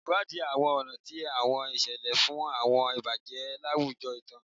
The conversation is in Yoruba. Ṣewadii àwọn ọ̀nà ti àwọn ìṣẹ̀lẹ̀ fún àwọn ìbàjẹ́ láwùjọ ìtàn.